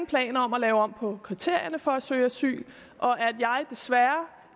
planer om at lave om på kriterierne for at søge asyl og at jeg desværre